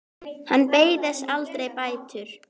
Hann beið þess aldrei bætur.